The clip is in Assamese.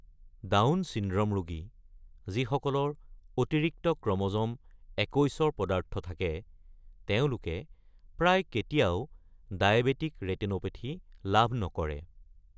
ডাউন চিনড্ৰম ৰোগী, যিসকলৰ অতিৰিক্ত ক্ৰম’জম ২১-ৰ পদাৰ্থ থাকে, তেওঁলোকে প্ৰায় কেতিয়াও ডায়েবেটিক ৰেটিনোপেথী লাভ নকৰে।